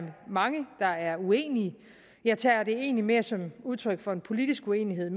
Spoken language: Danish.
mange der er uenige jeg tager det egentlig mere som udtryk for en politisk uenighed